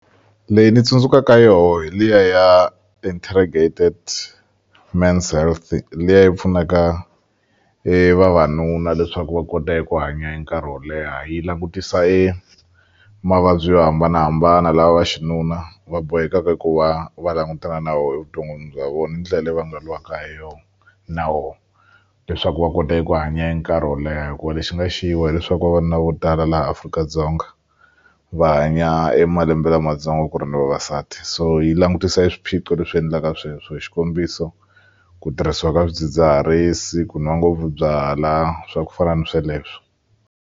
Leyi ni tsundzukaka yoho hi liya ya Integrated Men's Health liya yi pfunaka e vavanuna leswaku va kota eku hanya e nkarhi wo leha yi langutisa e mavabyi yo hambanahambana lawa xinuna va bohekaka ku va va langutana na wo evuton'wini bya vona ni ndlela leyi va nga lwaka ha yo nawo leswaku va kota eku hanya e nkarhi wo leha hikuva lexi nga xi wa hileswaku vavanuna vo tala laha Afrika-Dzonga va hanya e malembe lamatsongo ku ri na vavasati so yi langutisa e swiphiqo leswi endlaka sweswo xikombiso ku tirhisiwa ka swidzidziharisi ku nwa ngopfu byalwa swa ku fana ni sweleswo.